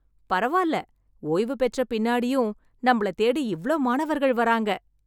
பரவால்ல, ஒய்வு பெற்ற பின்னாடியும் நம்மள தேடி இவ்ளோ மாணவர்கள் வராங்க.